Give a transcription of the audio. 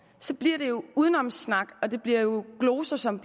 så bliver det jo udenomssnak og det bliver gloser som